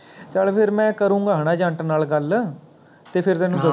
ਚੱਲ ਫਿਰ ਮੈਂ ਕਰੂੰਗਾ ਹੈਨਾ Agent ਨਾਲ ਗੱਲ, ਤੇ ਫੇਰ ਤੈਨੂੰ ਦੱਸੂ